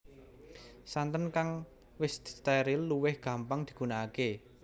Santen kang wis distéril luwih gampang digunakaké